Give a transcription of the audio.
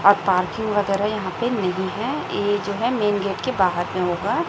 और पार्किंग वगैरह यहां पे नहीं है ये जो है मेन गेट के बाहर में होगा।